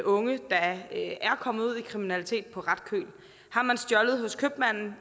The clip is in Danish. unge der er kommet ud i kriminalitet på ret køl har man stjålet hos købmanden